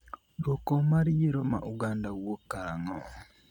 dwoko mar yiero ma Uganda wuok karang'o?